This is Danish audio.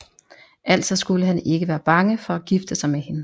Altså skulle han ikke være bange for at gifte sig med hende